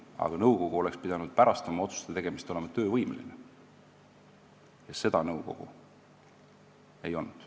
Aga nõukogu oleks pidanud pärast oma otsuste tegemist olema töövõimeline ja seda nõukogu ei olnud.